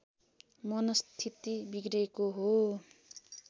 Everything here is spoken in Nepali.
मनस्थिति बिग्रेको हो